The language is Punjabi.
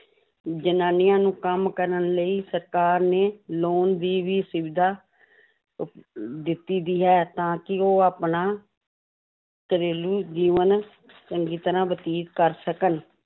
ਜ਼ਨਾਨੀਆਂ ਨੂੰ ਕੰਮ ਕਰਨ ਲਈ ਸਰਕਾਰ ਨੇ loan ਦੀ ਵੀ ਸੁਵਿਧਾ ਉਪ~ ਦਿੱਤੀ ਹੋਈ ਹੈ, ਤਾਂ ਕਿ ਉਹ ਆਪਣਾ ਘਰੇਲੂ ਜੀਵਨ ਚੰਗੀ ਤਰ੍ਹਾਂ ਬਤੀਤ ਕਰ ਸਕਣ